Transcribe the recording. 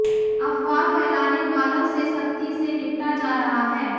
अफवाह फैलाने वालों से सख्ती से निपटा जा रहा है